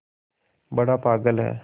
बड़ा पागल है